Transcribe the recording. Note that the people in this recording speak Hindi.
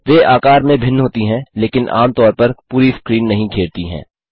वे आकार में भिन्न होती हैं लेकिन आम तौर पर पूरी स्क्रीन नहीं घेरती हैं